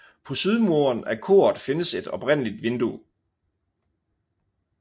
På sydmuren af koret findes et oprindeligt vindue